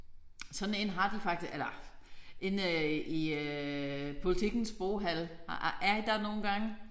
Sådan en har de faktisk eller inde i øh Politikens boghal har er I der nogle gange?